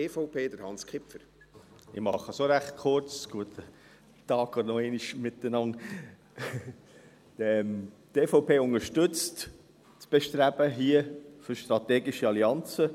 Die EVP unterstützt hier im Grossen Rat das Bestreben für strategische Allianzen.